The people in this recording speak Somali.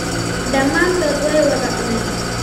Dhammaantood way wada cuneen